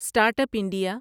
start up India